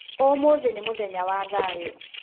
Ũmũthĩ nĩ mũthenya wa thayũ.